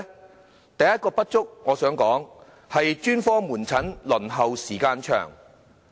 我想指出，第一個不足之處是專科門診的輪候時間長。